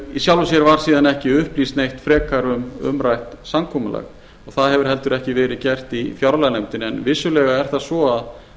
í sjálfu sér var síðan ekki upplýst neitt frekar um umrætt samkomulag og það hefur heldur ekki verið gert í fjárlaganefndinni en vissulega er það svo